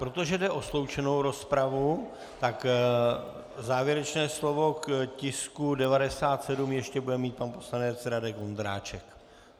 Protože jde o sloučenou rozpravu, tak závěrečné slovo k tisku 97 ještě bude mít pan poslanec Radek Vondráček.